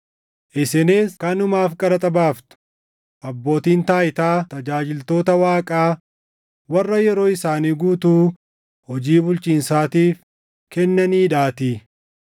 Isinis kanumaaf qaraxa baaftu; abbootiin taayitaa tajaajiltoota Waaqaa warra yeroo isaanii guutuu hojii bulchiinsaatiif kennaniidhaatii.